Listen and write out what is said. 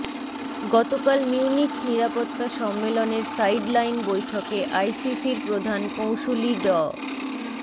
গতকাল মিউনিখ নিরাপত্তা সম্মেলনের সাইড লাইন বৈঠকে আইসিসির প্রধান কৌঁসুলি ড